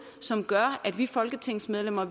som gør at vi folketingsmedlemmer